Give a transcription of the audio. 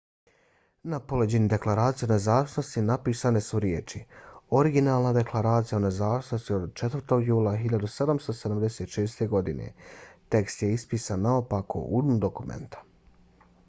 na poleđini deklaracije o nezavisnosti napisane su riječi originalna deklaracija o nezavisnosti od 4. jula 1776. godine . tekst je ispisan naopako u dnu dokumenta